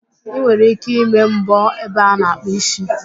Ị nwere ike ịme mbọ ebe a na-akpụ ísí